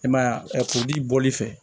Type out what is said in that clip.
I man ye a kuruli bɔli fɛ